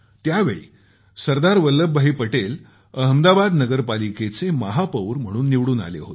त्यावेळी सरदार वल्लभ भाई पटेल अहमदाबाद नगर पालिकेचे महापौर म्हणून निवडून आले होते